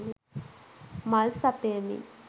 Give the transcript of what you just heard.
මල් සපයමින්